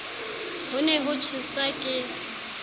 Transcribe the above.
ho ne ho tjhesa ke